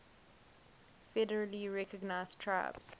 federally recognized tribes